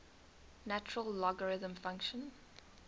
natural logarithm function